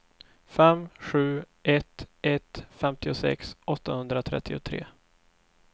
fem sju ett ett femtiosex åttahundratrettiotre